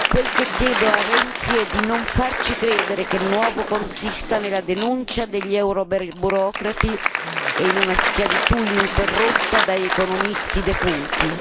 Quel che chiedo a Renzi è di non farci credere che il nuovo consista nella denuncia degli euroburocrati e in una schiavitù ininterrotta da economisti defunti.